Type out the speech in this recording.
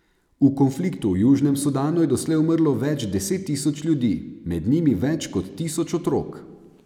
V konfliktu v Južnem Sudanu je doslej umrlo več deset tisoč ljudi, med njimi več kot tisoč otrok.